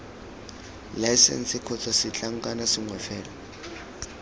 laesense kgotsa setlankna sengwe fela